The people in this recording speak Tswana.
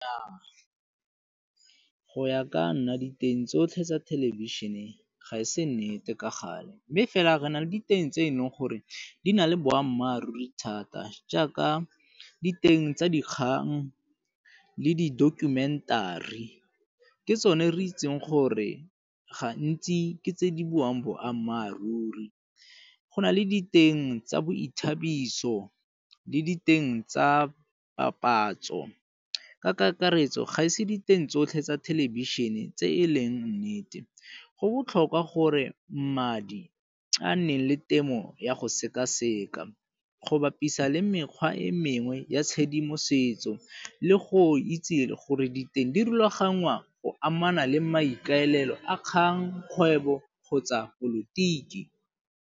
Nnyaa, go ya ka nna diteng tsotlhe tsa thelebišhene ga e se nnete ka gale, mme fela re na le diteng tse e leng gore di na le boammaaruri thata jaaka diteng tsa dikgang le di -documentary. Ke tsone re itseng gore gantsi ke tse di buang boammaaruri Go na le diteng tsa boithabiso le diteng tsa papatso ka kakaretso ga ise diteng tsotlhe tsa thelebišhene tse e leng nnete. Go botlhokwa gore mmadi a nne le temo ya go sekaseka go bapisa le mekgwa e mengwe ya tshedimosetso le go itse le gore diteng di rulaganngwa o amana le maikaelelo a kgang, kgwebo kgotsa polotiki.